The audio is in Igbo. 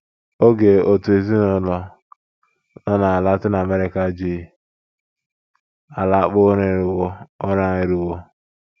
OGE OTU EZINỤLỌ nọ na Latin America ji alakpu ụra eruwo. ụra eruwo.